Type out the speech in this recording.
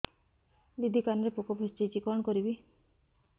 ଦିଦି କାନରେ ପୋକ ପଶିଯାଇଛି କଣ କରିଵି